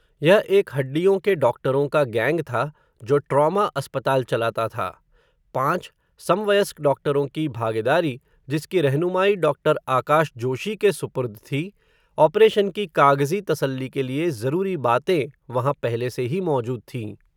यह एक हडिड्यों के डॉक्टरों का गेंग था, जो ट्रौमा अस्पताल चलाता था, पांच, सम व यस्क डॉक्टरों की भागेदारी, जिसकी रहनुमाई डॉक्टर आकाश जोशी के सुपुर्द थी, ऑपरेशन की कागज़ी तसल्ली के लिए, ज़रूरी बातें, वहां पहले से ही मौजूद थीं